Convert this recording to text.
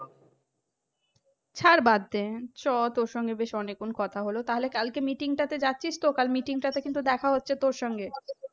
ছাড় বাদ দে চ তোর সাথে বেশ অনেকক্ষণ কথা হলো কালকে meeting তা তে যাচ্ছিস তো কাল meeting টাতে কিন্তু দেখা হচ্ছে তোর সঙ্গে